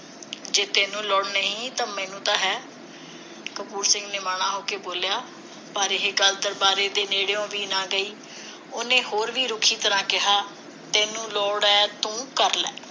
ਜੇ ਤੈਨੂੰ ਲੋੜ ਨਹੀਂ ਮੈਨੂੰ ਤਾਂ ਹੈ ਕਪੂਰ ਸਿੰਘ ਨਿਮਾਣਾ ਹੋ ਕੇ ਬੋਲਿਆ ਪਰ ਇਹ ਗੱਲ ਦਰਬਾਰੇ ਦੇ ਨੇੜਿਓ ਵੀ ਨਾ ਗਈ ਉਹਨੇ ਹੋਰ ਵੀ ਰੁੱਖੀ ਤਰ੍ਹਾਂ ਕਿਹਾ ਤੈਨੂੰ ਲੋੜ ਹੈ ਤੂੰ ਕਰ ਲੈ